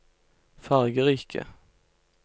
fargerike